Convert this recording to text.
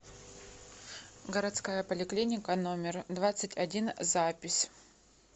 городская поликлиника номер двадцать один запись